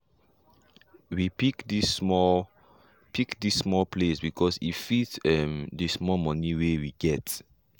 we pick this small pick this small place because e fit um d small money way we get